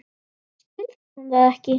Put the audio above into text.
Skildi hún það ekki?